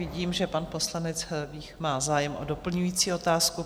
Vidím, že pan poslanec Vích má zájem o doplňující otázku.